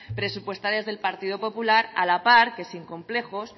presupuestarias del partido popular a la par que sin complejos